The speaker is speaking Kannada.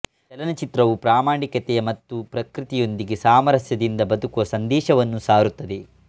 ಚಲನಚಿತ್ರವು ಪ್ರಾಮಾಣಿಕತೆಯ ಮತ್ತು ಪ್ರಕೃತಿಯೊಂದಿಗೆ ಸಾಮರಸ್ಯದಿಂದ ಬದುಕುವ ಸಂದೇಶವನ್ನು ಸಾರುತ್ತದೆ